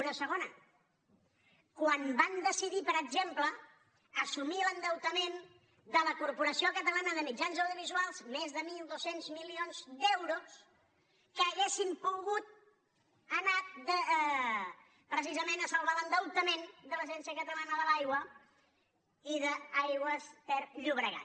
una segona quan van decidir per exemple assumir l’endeutament de la corporació catalana de mitjans audiovisuals més de mil dos cents milions d’euros que haurien pogut anar precisament a salvar l’endeutament de l’agència catalana de l’aigua i d’aigües ter llobregat